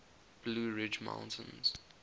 blue ridge mountains